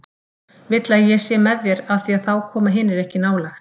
Vill að ég sé með þér af því að þá koma hinir ekki nálægt.